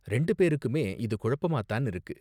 இரண்டு பேருக்குமே இது குழப்பமாத்தான் இருக்கு.